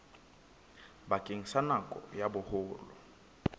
bakeng sa nako ya boholo